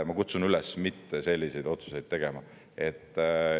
Ma kutsun üles mitte selliseid otsuseid tegema.